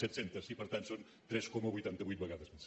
set cents i per tant són tres coma vuitanta vuit vegades més